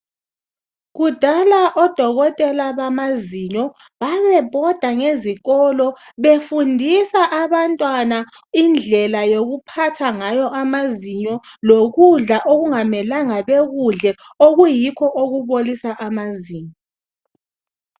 Kudala odokotela bamazinyo babebhoda ngezikolo befundisa abantwana indlela yokuphatha ngayo amazinyo lokudla okungamelanga bekudle okuyikho okubolisa amazinyo